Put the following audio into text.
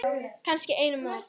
Kannski einum of.